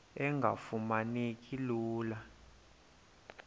engafuma neki lula